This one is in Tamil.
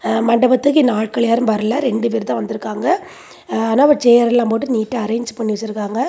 மண்டபத்துக்கு இன்னும் ஆட்களெல்லா யாரும் வரல ஆனா ரெண்டு பேரு தான் வந்து இருக்காங்க ஆனா சார் எல்லாம் போட்டு நீட்டா அரேஞ்ச் பண்ணி வச்சிருக்காங்க.